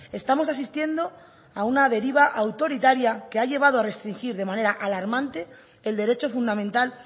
estamos asistiendo a una deriva autoritaria que ha llevado a restringir de manera alarmante el derecho fundamental